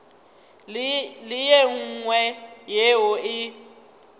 le ye nngwe yeo e